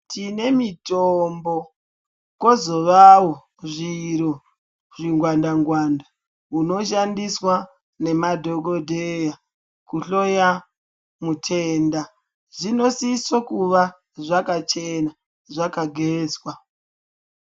Tine mitombo kozovawo zviro zvingwanda-ngwanda, hunoshandiswa nemadhokodheya kuhloya mutenda. Zvinosiso kuva zvakachena, zvakagezwa.